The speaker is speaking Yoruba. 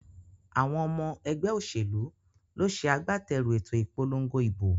Àwon omo egbé òsèlú ló se agbáterù èto ìpolongo ìbò